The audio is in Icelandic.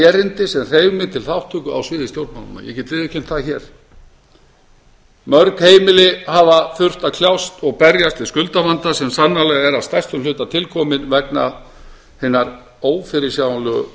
erindi sem hreif mig til þátttöku í sviði stjórnmálanna ég get viðurkennt það hér mörg heimili hafa þurft að kljást og berjast við skuldavanda sem sannarlega er að stærstum hluta tilkominn vegna hinnar ófyrirsjáanlegu